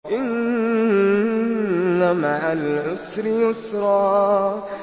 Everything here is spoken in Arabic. إِنَّ مَعَ الْعُسْرِ يُسْرًا